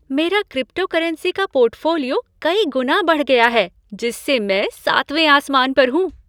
मेरा क्रिप्टोकरेंसी का पोर्टफोलियो कई गुना बढ़ गया है जिससे मैं सातवें आसमान पर हूँ।